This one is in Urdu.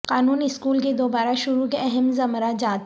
قانون اسکول کی دوبارہ شروع کے اہم زمرہ جات